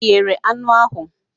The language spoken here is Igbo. Ị eghere anụ ahụ